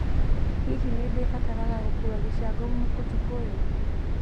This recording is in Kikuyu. Hihi nĩ ndĩbataraga gũkuua gĩcango ũtukũ ũyũ